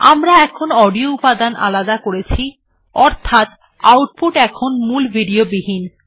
আমরা এখন অডিও উপাদান আলাদা করেছি অর্থাৎ আউটপুট এখন মূল ভিডিও বিহীন